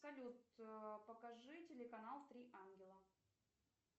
салют покажи телеканал три ангела